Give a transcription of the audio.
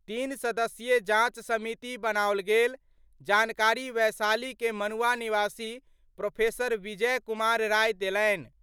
तीन सदस्यीय जांच समिति बनाओल गेल : जानकारी वैशाली के मनुआ निवासी प्रोफेसर विजय कुमार राय देलनि।